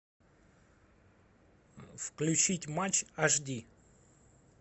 включить матч аш ди